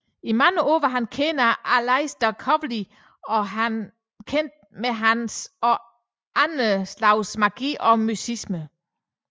I mange år var han bekendt af Aleister Crowley og var kendt med hans og andre slags magi og mysticisme